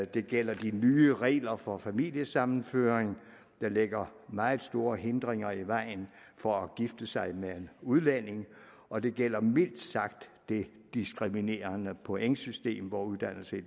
det gælder de nye regler for familiesammenføring der lægger meget store hindringer i vejen for at gifte sig med en udlænding og det gælder mildt sagt det diskriminerende pointsystem hvor uddannelse i